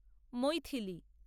Maithili